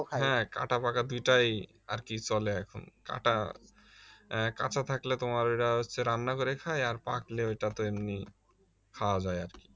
হ্যাঁ কাঁটাপাকা দুইটাই আর কি চলে এখন কাঁটা আহ কাঁচা থাকলে তোমার ঐটা হচ্ছে রান্না করে খায় আর পাকলে ঐটা তো এমনি খাওয়া যায় আর কি